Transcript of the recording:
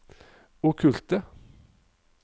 okkulte